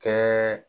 Kɛ